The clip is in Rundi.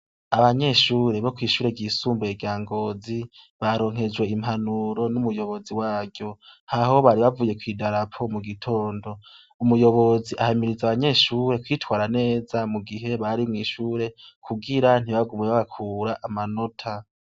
Abanyeshure bo kw'ishuri ry'isumbuye rya Ngozi, baronkejwe impanuro n'umuyobozi baryo, haraho bari bavuye kw'idarapo mugitondo. Umuyobozi ahimiriza abanyeshure kwitwara neza mugihe bari mw'ishure kugira ntibagume babakura amanota.